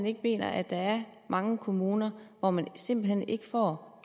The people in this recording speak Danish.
ikke mener at der er mange kommuner hvor man simpelt hen ikke får